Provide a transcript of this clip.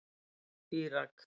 Írak